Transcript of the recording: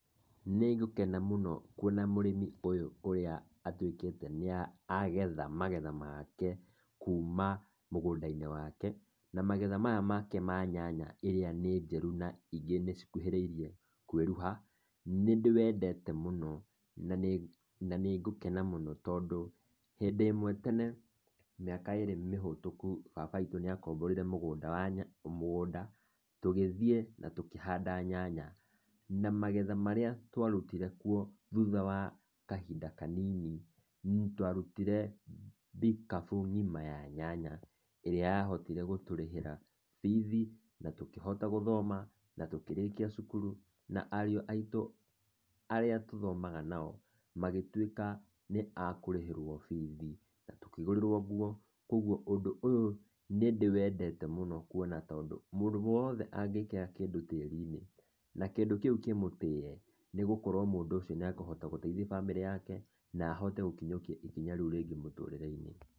Nĩ ngũkena mũno kuona mũrĩmi ũyũ ũrĩa atuĩkĩte nĩ agetha magetha make kuma mũgũnda-inĩ wake. Na magetha maya make ma nyanya iria nĩ njĩru na ingĩ cikuhĩrĩirie kwĩruha, nĩ ndĩ wendete mũno na nĩ ngũkena mũno tondũ, hĩndĩ ĩmwe tene mĩaka ĩrĩ mĩhĩtuku, baba witũ nĩ akomborire mũgũnda, tũgĩthiĩ na tukĩhanda nyanya. Na magetha marĩa twarutire kuo thutha wa kahinda kanini, twarutire mbikabu ng'ima ya nyanya. ĩrĩa yahotire gũtũrĩhĩra bithi na tũkĩhota gũthoma na tũkĩrĩkia cukuru. Na ariũ aitũ arĩa tũthomaga nao magĩtuĩka nĩ akũrĩhĩrwo bithi na tũkĩ gũrĩrwo nguo. Koguo ũndũ ũyũ nĩ ndĩwendete mũno kuona tondũ mũndũ wothe angĩkira kĩndũ tĩri-inĩ na kĩndũ kĩu kĩmũtĩye, nĩ ũgũkora mũndũ ũcio nĩ ekũhota gũteithia bamĩrĩ yake. Na ahote gũkinyũkia ikinya rĩu rĩngĩ mũtũrĩre-inĩ.